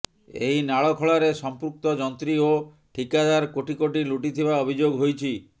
ଏହି ନାଳ ଖୋଳାରେ ସଂପୃକ୍ତ ଯନ୍ତ୍ରୀ ଓ ଠିକାଦାର କୋଟି କୋଟି ଲୁଟିଥିବା ଅଭିଯୋଗ ହୋଇଛି